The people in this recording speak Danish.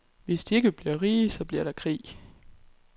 Hvis de ikke bliver rige, bliver der krig.